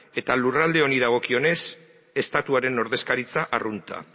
eta lurralde honi dagokionez estatuaren ordezkaritza arrunta